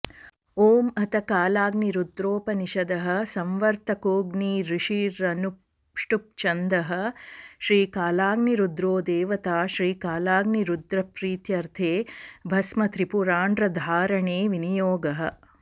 ॐ अथ कालाग्निरुद्रोपनिषदः संवर्तकोऽग्निरृषिरनुष्टुप्छन्दः श्रीकालाग्निरुद्रो देवता श्रीकालाग्निरुद्रप्रीत्यर्थे भस्मत्रिपुण्ड्रधारणे विनियोगः